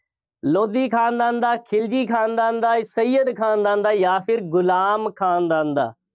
ਲੋਧੀ ਖਾਨਦਾਨ ਦਾ, ਖਿਲਜੀ ਖਾਨਦਾਨ ਦਾ, ਸਇਅਦ ਖਾਨਦਾਨ ਦਾ ਜਾਂ ਗੁਲਾਮ ਖਾਨਦਾਨ ਦਾ